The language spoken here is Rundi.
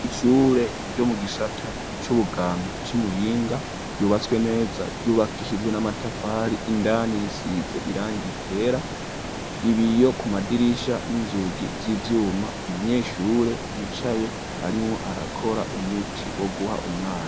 Ishure ryo mu gisata c'ubuganga c' i Muyinga ryubatswe neza, ryubakishijwe n'amatafari indani risize irangi ryera, ibiyo ku madirisha, n'inzugi z'ivyuma, umunyeshure yicaye arimwo arakora umuti woguha umwana.